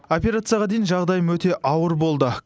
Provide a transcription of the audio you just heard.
операцияға дейін жағдайым өте ауыр болды